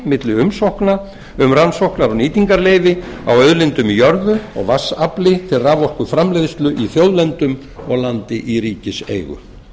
milli umsókna um rannsóknar og nýtingarleyfi á auðlindum í jörðu og vatnsafli til raforkuframleiðslu í þjóðlendum og landi í ríkiseigu